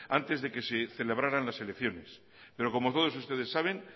antes de que se celebraran las elecciones pero como todos ustedes saben